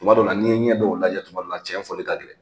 Tuma dɔw la, n'i ɲɛ dɔw lajɛ kuma dɔw la cɛn fɔli ka gɛlɛ.